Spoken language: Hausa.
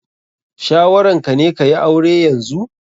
Shawaran ka ne ka yi aure yanzu?